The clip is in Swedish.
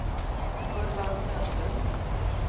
Urban Söderlund